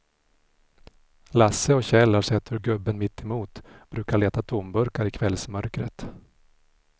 Lasse och Kjell har sett hur gubben mittemot brukar leta tomburkar i kvällsmörkret.